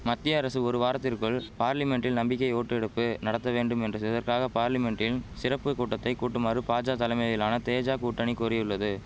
மத்திய அரசு ஒரு வாரத்திற்குள் பார்லிமென்டில் நம்பிக்கை ஓட்டெடுப்பு நடத்த வேண்டும் என்று இதற்காக பார்லிமென்டின் சிறப்பு கூட்டத்தை கூட்டுமாறு பாஜா தலமையிலான தேஜா கூட்டணி கூறியுள்ளது